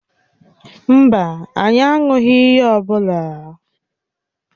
Mba, anyị aṅụghị ihe ọ bụla.